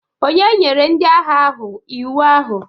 Ònye nyere ndị agha ahụ iwu ahụ?